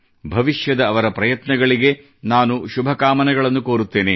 ಭವಿಷ್ಯದ ಅವರ ಪ್ರಯತ್ನಗಳಿಗೆ ನಾನು ಶುಭಕಾಮನೆಗಳನ್ನು ಕೋರುತ್ತೇನೆ